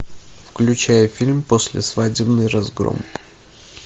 включай фильм послесвадебный разгром